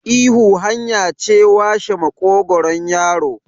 ihu hanya ce washe maƙogaron yaro